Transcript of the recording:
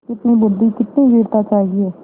कितनी बुद्वि कितनी वीरता चाहिए